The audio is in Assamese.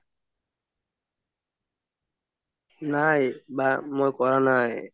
নাই বা মই কৰা নাই